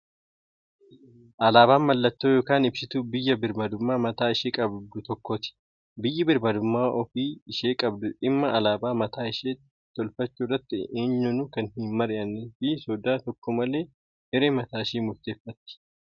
Alaabaan mallattoo yookaan ibsituu biyya birmmadummaa mataa ishee qabdu tokkooti. Biyyi birmmadummaa ofii ishee qabdu dhimma alaabaa mataa ishee tolfachuu irratti eenyuunu kan hin mari'annee fi sodaa tokko malee hiree mataa ishee murteeffatti.